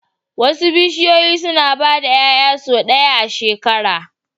Wasu bishiyoyi suna ba da 'ya'ya sau ɗaya a shekara